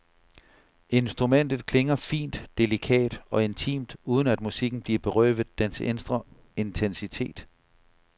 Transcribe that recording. Instrumentet klinger fint, delikat og intimt, uden at musikken bliver berøvet dens indre intensitet.